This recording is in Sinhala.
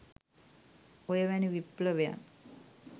ඔය වැනි විප්ලවයන්